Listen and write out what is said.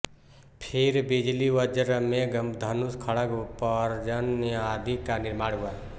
फिर बिजली वज्र मेघ धनुष खड्ग पर्जन्य आदि का निर्माण हुआ